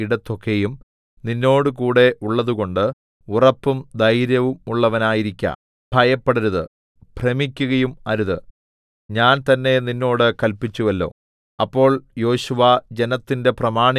നിന്റെ ദൈവമായ യഹോവ നീ പോകുന്ന ഇടത്തൊക്കെയും നിന്നോടുകൂടെ ഉള്ളതുകൊണ്ട് ഉറപ്പും ധൈര്യവുമുള്ളവനായിരിക്ക ഭയപ്പെടരുത് ഭ്രമിക്കയും അരുത് ഞാൻ തന്നെ നിന്നോട് കല്പിച്ചുവല്ലോ